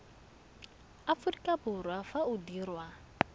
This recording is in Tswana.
aforika borwa fa o dirwa